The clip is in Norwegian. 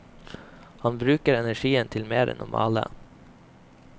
Han bruker energien til mer enn å male.